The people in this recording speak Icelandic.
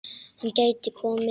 Hann gæti komið